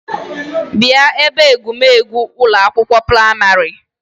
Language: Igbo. Bia ebe egwu megwu Ụlọ akwụkwọ praịmarị